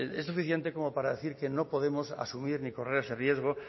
es suficiente como para decir que no podemos asumir ni correr ese riesgo